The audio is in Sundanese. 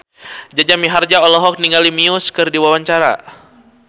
Jaja Mihardja olohok ningali Muse keur diwawancara